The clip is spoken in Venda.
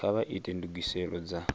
kha vha ite ndugiselo dza